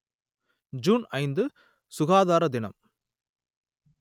June ஐந்து சுகாதார தினம்